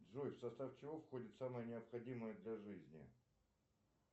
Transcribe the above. джой в состав чего входит самое необходимое для жизни